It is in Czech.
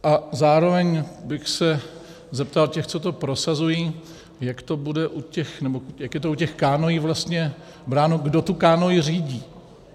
A zároveň bych se zeptal těch, co to prosazují, jak je to u těch kánoí vlastně bráno, kdo to kánoi řídí?